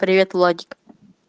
привет владик